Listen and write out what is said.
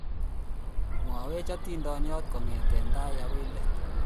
mwaiwech hatindiyot kongete tai akoi let